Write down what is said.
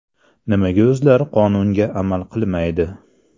Nimaga o‘zlari qonunga amal qilmaydi?